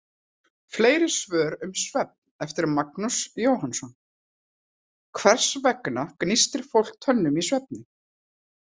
Fleiri svör um svefn, eftir Magnús Jóhannsson: Hvers vegna gnístir fólk tönnum í svefni?